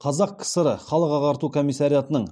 қазақ кср халық ағарту комиссариатының